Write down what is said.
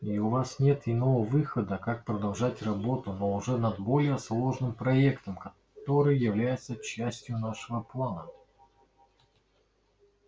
и у вас нет иного выхода как продолжать работу но уже над более сложным проектом который является частью нашего плана